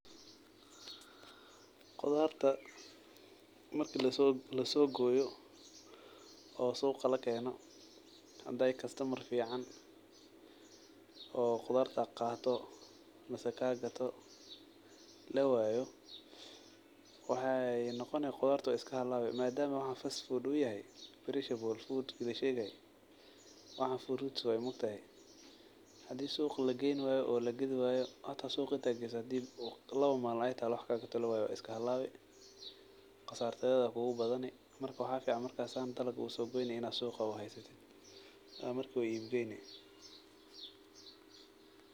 Qudarta marka la soo la soo gooyo oo suuqa la keeno. Hadday customer fiican oo qudartu kaato masa kagato la waayo. Waxay noqonaya qudurtu iska halawe. Maadaama wahan fast food u yahe. Perishable food la sheegay waxaan fruits aan mukhtayay. Hadii suuq la geeni wayo oo la gad wayo hata suuq hada gi saad diib u lawa maalmo aytaa wuxuu ka aqoon tali wey way iska halawey. Qasartada kuugu badani markaa wahaficaan marka saan taloku so goynin suuqa u haysatid. Markii uu ibka in.